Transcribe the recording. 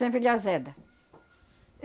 Sempre ele azeda.